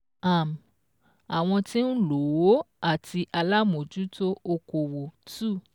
um Àwọn tí ń lò ó àti alámòjútó okòwò two